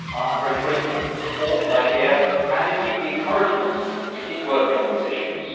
I am very grateful for the support that I hear and indeed the encouragement to keep working on these issues.